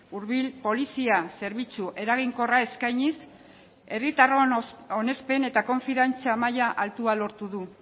hurbil polizia zerbitzu eraginkorra eskainiz herritarron onespen eta konfiantza maila altua lortu du